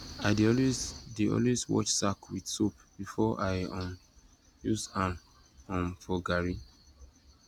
i dey always dey always wash sack with soap before i um use am um for garri